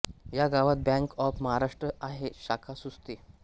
या गावात bank of Maharashtra आहे शाखा सुस्ते